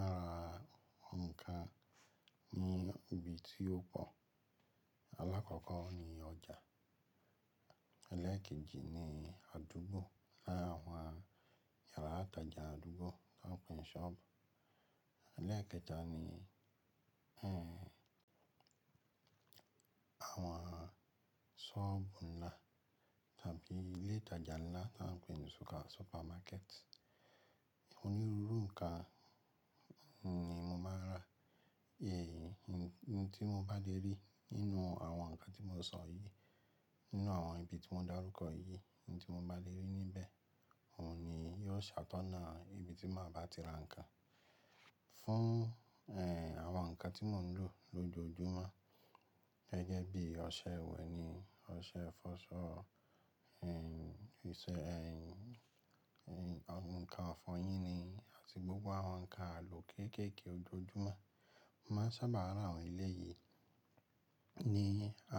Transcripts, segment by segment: Máa ra ǹkan ní ibi tí ó pọ̀. Alákọ̀ọ́kọ́ ni ọjà, eléèkejì ni àdúgbò, láwọn yàrá ìtajà àdúgbò tí wọ́n pè ní shop, eléèkẹta ni, àwọn ṣọ́ọ̀bù ńlá tàbí ilé ìtajà ńlá tí wọ́n pè ní super-supermarket. Òní rúrú ǹkan ni mo máa ń rà. Èyí, ohun tí mo bá dé rí nínú àwọn ǹkan tí mo sọ yìí, nínú àwọn ibi tí mo dá rúkọ yìí, ohun tí mo bá lè rí níbẹ̀, òun ni yóò ṣàtọ́ná ibi tí màá ba ti ra ǹkan. Fún, àwọn ǹkan tí mò ń lò lójoojúmọ́ gẹ́gẹ́ bí ọṣẹ ìwẹ̀ ni, ọṣẹ fọṣọ, ìṣẹ́, ǹkan ọ̀fọ̀yín ni àti gbogbo àwọn ǹkan àlò kéékèèké ojoojúmọ́, màá sábà ra àwọn ilé yìí ní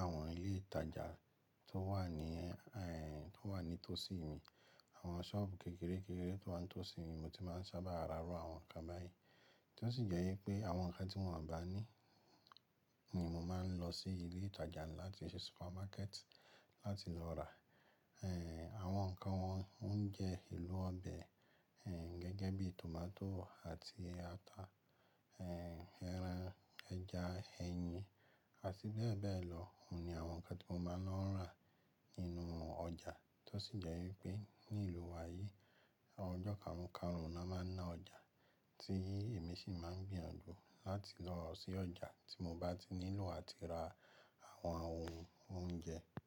àwọn ilé ìtajà tó wà ní, tó wà ní tọ̀sí mi. Àwọn shop kékeré-kékeré tó wà ní tọ̀sí mi mo ti máa ń sábà ra ru àwọn ǹkan báyìí. Tó sì jẹ́ wípé àwọn ǹkan tí wọ́n ò bá ní ní mo máa ń lọ sí ilé ìtajà ńlá tí í ṣe supermarket láti lọ rà. Àwọn ǹkan wọn, oúnjẹ elú ọ̀bẹ̀, gẹ́gẹ́ bí tòmátò àti ata, ẹran, ẹja, ẹyin àti bẹ́ẹ̀ bẹ́ẹ̀ lọ, òun ni àwọn ǹkan tí mo máa ń lọ́ rà nínú ọjà. Tó sì jẹ́ wípé ní ìlú wa yìí àwọn ọjọ́ karùn-karùn ni wọ́n máa ń ná ọjà tí èmi sì máa ń gbìyànjú láti lọ sí ọjà tí mo bá ti nílò àti ra àwọn ohun oúnjẹ.